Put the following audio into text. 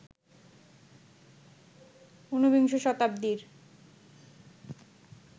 উনবিংশ শতাব্দীর